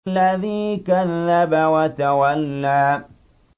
الَّذِي كَذَّبَ وَتَوَلَّىٰ